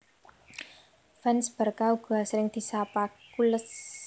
Fans Barca uga asring disapa culés